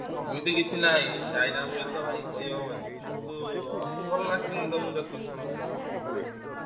ସେମିତି କିଛି ନାଇଁ China mobile ତ ଭାଇ କହିହବନି କିନ୍ତୁ Oppo ଭଲ lasting ଦବ ମୁଁ ଦେଖୁଚି ସମସ୍ତଙ୍କର Oppo ଭଲ lasting କରୁଚି।